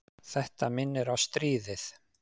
Þetta minnir á stríðið.